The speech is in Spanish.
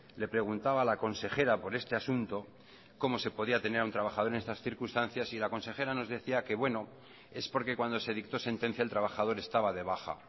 le preguntaba a la consejera por este asunto cómo se podía tener a un trabajador en estas circunstancias y la consejera nos decía que bueno es porque cuando se dictó sentencia el trabajador estaba de baja